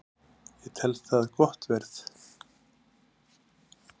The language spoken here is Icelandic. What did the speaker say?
Ég tel það gott verð